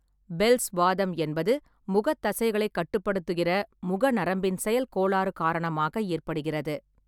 Bells வாதம் என்பது, முகத் தசைகளைக் கட்டுப்படுத்துகிறமுக நரம்பின் செயல்கோளாறு காரணமாக ஏற்படுகிறது.